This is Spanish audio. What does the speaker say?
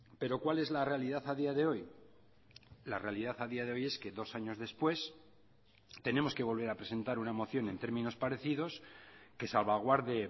pero cuál es la realidad a día de hoy la realidad a día de hoy es que dos años después tenemos que volver a presentar una moción en términos parecidos que salvaguarde